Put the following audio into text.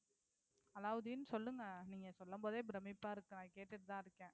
அலாவுதீன், சொல்லுங்க நீங்க சொல்லும் போதே பிரமிப்பா இருக்கு நான் கேட்டிட்டு தான் இருக்கேன்.